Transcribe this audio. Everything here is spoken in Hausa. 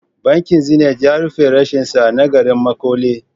Bankin Zenith ya rufe reshensa na garin Makole.